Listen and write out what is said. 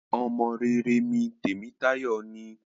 Ọmọ rere mí Temitayo ní.